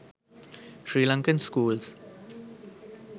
srilankan schools